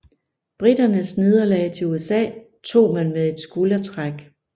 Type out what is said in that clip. Briternes nederlag til USA tog man med et skuldertræk